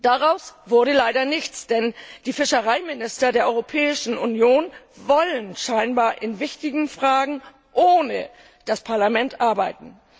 Daraus wurde leider nichts, denn die Fischereiminister der Europäischen Union wollen scheinbar in wichtigen Fragen ohne das Parlament arbeiten.